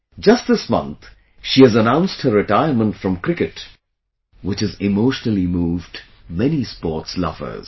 Just this month, she has announced her retirement from cricket which has emotionally moved many sports lovers